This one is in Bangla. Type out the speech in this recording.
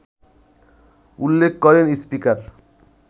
উল্লেখ করেন স্পিকার